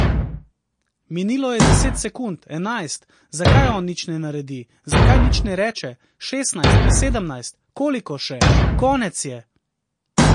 Minilo je deset sekund, enajst, zakaj on nič ne naredi, zakaj nič ne reče, šestnajst, sedemnajst, koliko še, konec je.